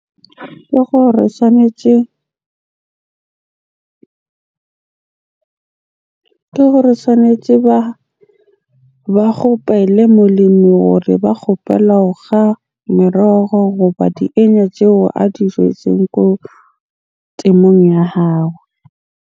Ke gore tshwanetje Ke gore tshwanetje ba kgopele molemi hore ba kgopela ho kga merogo goba di tseo a di jetseng ko temong ya hao.